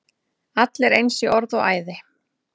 Allir eins í orði og æði.